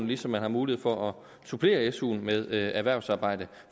ligesom man har mulighed for at supplere suen med erhvervsarbejde